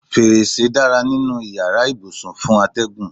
Fèrèsé dára nínú ìyára ibùsùn fún atẹ́gùn.